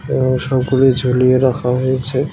এবং সবগুলি ঝুলিয়ে রাখা হয়েছে .